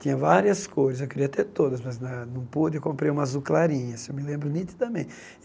Tinha várias cores, eu queria ter todas, mas na não pude, eu comprei uma azul clarinha, assim eu me lembro